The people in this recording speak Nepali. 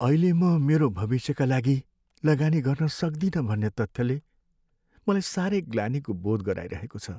अहिले म मेरो भविष्यका लागि लगानी गर्न सक्दिनँ भन्ने तथ्यले मलाई साह्रै ग्लानीको बोध गराइरहेको छ।